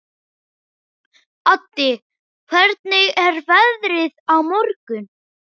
Addi, hvernig er veðrið á morgun?